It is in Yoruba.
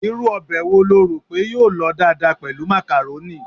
Irú ọbẹ̀ wo lo rò pé yóò lọ dáadáa pẹ̀lú macaroni?